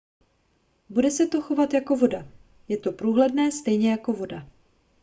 bude se to chovat jako voda je to průhledné stejně jako voda